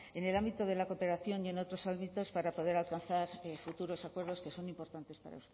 en el ámbito de la cooperación y en otros ámbitos para poder alcanzar futuros acuerdos que son importantes para